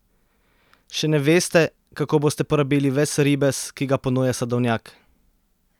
Še ne veste, kako boste porabili ves ribez, ki ga ponuja sadovnjak?